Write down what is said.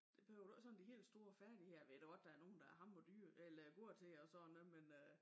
Det behøver du ikke sådan de helt store færdigheder ved da godt der nogen der er hammer dyre eller gode til og sådan noget men øh